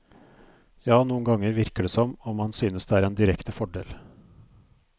Ja, noen ganger virker det som om han synes det er en direkte fordel.